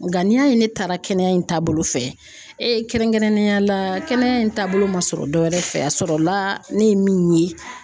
Nga n'i y'a ye ne taara kɛnɛya in taabolo fɛ e kɛrɛnkɛrɛnnenya la kɛnɛya in taabolo ma sɔrɔ dɔ wɛrɛ fɛ a sɔrɔla ne ye min ye